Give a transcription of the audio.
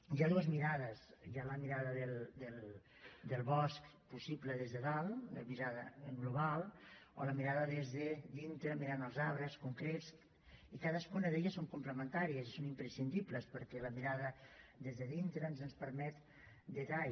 hi ha dues mirades hi ha la mirada del bosc possible des de dalt la mirada global o la mirada des de dintre mirant els arbres concrets i cadascuna d’elles són complementàries i són imprescindibles perquè la mirada des de dintre doncs ens permet detall